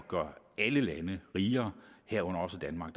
gøre alle lande rigere herunder også danmark